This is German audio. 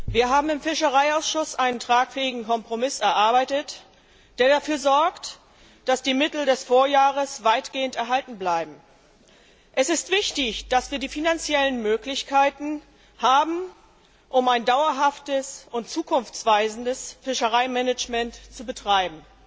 Wir haben im Fischereiausschuss einen tragfähigen Kompromiss erarbeitet, der dafür sorgt, dass die Mittel des Vorjahres weitgehend erhalten bleiben. Es ist wichtig, dass wir die finanziellen Möglichkeiten haben, um ein dauerhaftes und zukunftsweisendes Fischereimanagement zu betreiben.